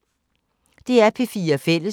DR P4 Fælles